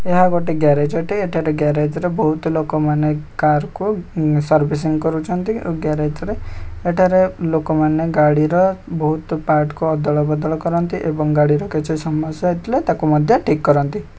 ଏହା ଗୋଟେ ଗ୍ୟାରେଜ ଅଟେ ଏଠାରେ ଗ୍ୟାରେଜ ରେ ବହୁତ ଲୋକମାନେ କାର୍‌ କୁ ସର୍ବିସିଙ୍ଗ କରୁଛନ୍ତି ଗ୍ୟାରେଜ ରେ ଏଠାରେ ଲୋକମାନେ ଗାଡିର ବହୁତ ପାର୍ଟ କୁ ଅଦଳ ବଦଳ କରନ୍ତି ଏବଂ ଗାଡିର କିଛି ସମସ୍ୟା ହେଇଥିଲେ ତାକୁ ମଧ୍ୟ ଠିକ୍‌ କରନ୍ତି ।